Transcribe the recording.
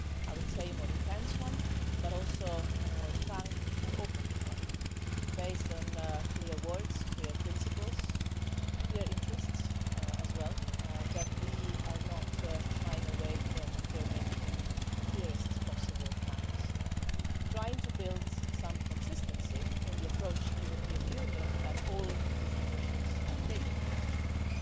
I would say a more intense one, but also a more frank and open one, based on clear words, clear principles and also clear interests that we are not shying away from affirming in the clearest possible manner trying to build some consistency in the approach the European Union and all its institutions are taking towards China.